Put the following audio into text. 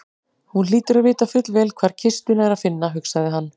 Hún hlýtur að vita fullvel hvar kistuna er að finna, hugsaði hann.